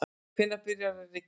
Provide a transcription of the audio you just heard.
hvenær byrjar að rigna